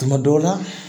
Tuma dɔw la